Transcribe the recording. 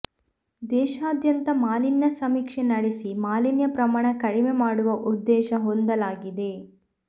ದೇಶಾದ್ಯಂತ ಮಾಲಿನ್ಯ ಸಮೀಕ್ಷೆ ನಡೆಸಿ ಮಾಲಿನ್ಯ ಪ್ರಮಾಣ ಕಡಿಮೆ ಮಾಡುವ ಉದ್ದೇಶ ಹೊಂದಲಾಗಿದೆ